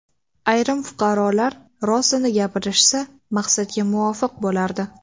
Ayrim fuqarolar rostini gapirishsa, maqsadga muvofiq bo‘lardi.